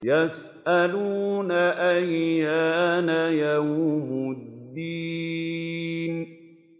يَسْأَلُونَ أَيَّانَ يَوْمُ الدِّينِ